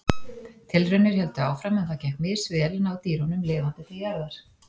Tilraunir héldu áfram en það gekk misvel að ná dýrunum lifandi til jarðar.